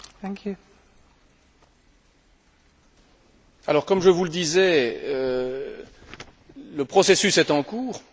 Comme je vous le disais, le processus est en cours, le groupe de travail se réunit, s'est encore réuni avant hier.